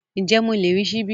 Ǹjẹ́ mo lè rí ṣíbí?